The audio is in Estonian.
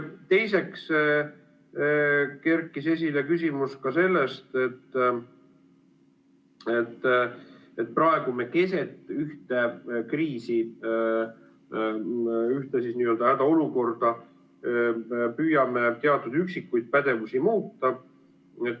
Teiseks kerkis esile küsimus ka selle kohta, et praegu me keset ühte kriisi, ühte hädaolukorda püüame teatud üksikuid pädevusi muuta.